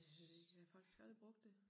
Jeg ved det ikke jeg har faktisk aldrig brugt det